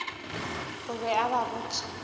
o be a ba botša